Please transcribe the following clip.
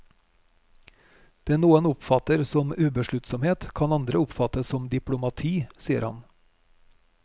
Det noen oppfatter som ubesluttsomhet kan andre oppfatte sem diplomati, sier han.